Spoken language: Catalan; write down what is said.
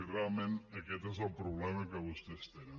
i realment aquest és el problema que vostès tenen